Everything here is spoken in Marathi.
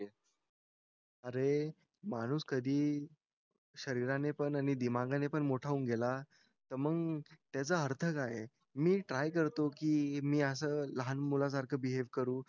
अरे माणूस कधी शरीराने पण आणि दिमाखाने पण मोठा होऊन गेला तर मग त्याचा अर्थ काय आहे मी ट्राय करतो की मी असं लहान मुलासारखं बिहेव्ह करू